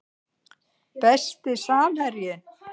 Besti samherjinn?